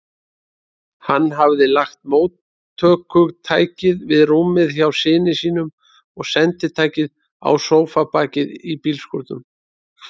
Hann hafði lagt móttökutækið við rúmið hjá syni sínum og senditækið á sófabakið í bílskúrnum.